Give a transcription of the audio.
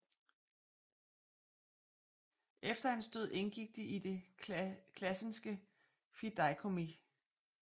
Efter hans død indgik de i Det Classenske Fideikommis